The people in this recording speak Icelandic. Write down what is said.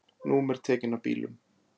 Númer tekin af bílum